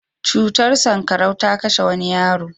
Cutar sanƙarau ta kashe wani yaro.